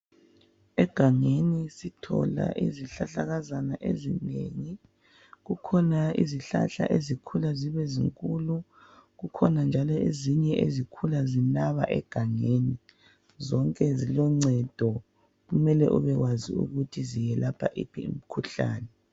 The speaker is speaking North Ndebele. Egangeni sithola izihlahlakazana ezinengi kukhona izihlahla ezikhula zibe zinkulu kukhona njalo ezinye ezikhula zinaba egangeni zonke ziloncedo kumele ube wazi ukuthi ziyelapha iphi imkhuhlane